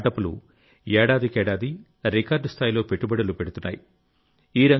స్టార్టప్లు ఏడాదికేడాది రికార్డు స్థాయిలో పెట్టుబడులు పెడుతున్నాయి